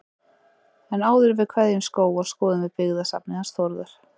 En áður en við kveðjum Skóga skoðum við byggðasafnið hans Þórðar.